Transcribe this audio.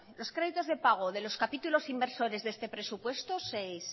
los créditos de pago de los capítulos inversores de este presupuesto sexto